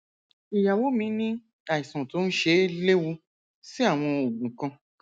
ìyàwó mi ní àìsàn tó ń ṣe é léwu sí àwọn oògùn kan